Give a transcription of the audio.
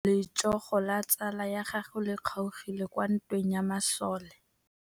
Letsôgô la tsala ya gagwe le kgaogile kwa ntweng ya masole.